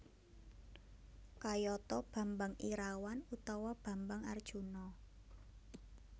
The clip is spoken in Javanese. Kayata Bambang Irawan utawa Bambang Arjuna